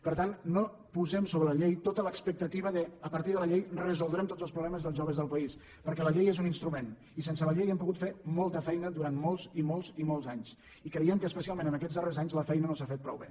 per tant no posem sobre la llei tota l’expectativa que a partir de la llei resoldrem tots els problemes dels joves del país perquè la llei és un instrument i sense la llei hem pogut fer molta feina durant molts i molts i molts anys i creiem que especialment aquests darrers anys la feina no s’ha fet prou bé